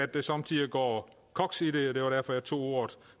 der somme tider går koks i det det var derfor jeg tog ordet